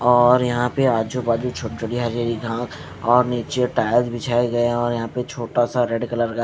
और यहां पे आजू बाजू छूट छोटी-छोटी हरी हरी घा और नीचे टायर बिछाए गए और यहां पे छोटा सा रेड कलर का --